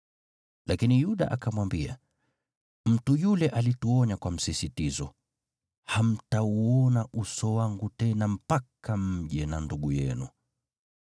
Lakini Yuda akamwambia, “Mtu yule alituonya kwa msisitizo, ‘Hamtauona uso wangu tena mpaka mje na ndugu yenu.’